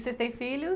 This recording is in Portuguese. vocês têm filhos?